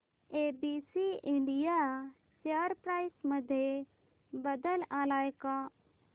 ABC India share price मध्ये बदल आलाय का